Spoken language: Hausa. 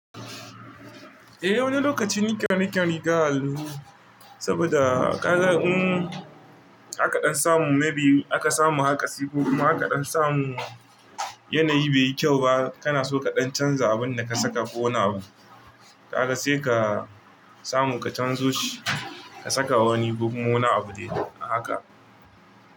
Eh wani lokaci nika riga a hallu saboda kaga in akaɗan samu maybe aka samu haka sai kuma akaɗan samu yanayi bai yi kyau ba kana so kaɗan canza abun da ka saka ko wani abu. Kaga sai ka samu ka canzo shi ka saka wani ko kuma wani abu dai haka.